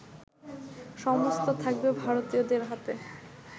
সমস্ত থাকবে ভারতীয়দের হাতে